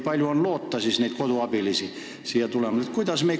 Kas on loota, et neid koduabilisi siia rohkem tuleb?